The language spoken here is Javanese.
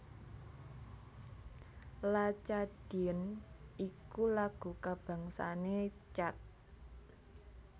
La Tchadienne iku lagu kabangsané Chad